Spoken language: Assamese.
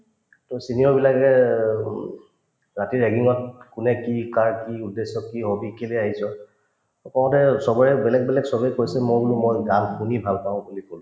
তোমাৰ senior বিলাকে উম ৰাতি ragging ত কোনে কি কাৰ কি উদ্দেশ্যত কি কওঁতে চবৰে বেলেগ বেলেগ চবে কৈছে মই বোলো মই গান শুনি ভাল পাওঁ বুলি কলো